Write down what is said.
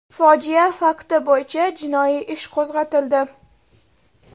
Fojia fakti bo‘yicha jinoiy ish qo‘zg‘atildi.